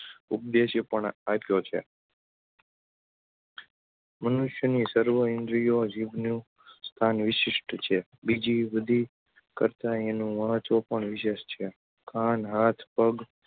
ઉદેશ્ય આપ્યો છે મનુષ્યની સર્વો ઈન્દ્રીઓ જીભનું સ્થાન વિશિષ્ટ છે. બીજી બધી કરતાં એનું મહત્ત્વ પણ વિશેષ છે. કાન, હાથ, પગ